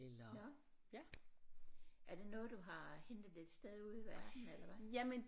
Nåh ja er det noget du har hentet et sted ude i verden eller hvad